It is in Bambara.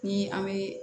Ni an bɛ